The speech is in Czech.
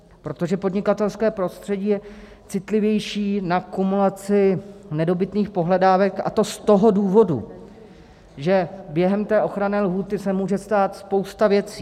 Protože podnikatelské prostředí je citlivější na kumulaci nedobytných pohledávek, a to z toho důvodu, že během té ochranné lhůty se může stát spousta věcí.